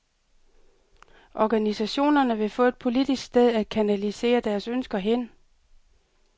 Organisationerne vil få et politisk sted at kanalisere deres ønsker hen.